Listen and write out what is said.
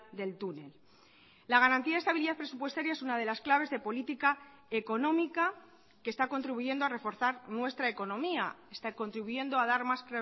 del túnel la garantía de estabilidad presupuestaria es una de las claves de política económica que está contribuyendo a reforzar nuestra economía está contribuyendo a dar más